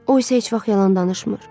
O isə heç vaxt yalan danışmır.